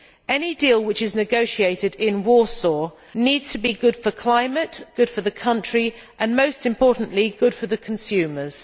Any deal which is negotiated in Warsaw needs to be good for climate, good for the country and, most importantly, good for the consumers.